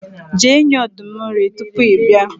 je nye ọdum nri tupu i bia